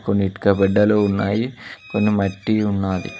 కొన్ని ఇటుక బిడ్డలు ఉన్నాయి కొన్ని మట్టి ఉన్నాది.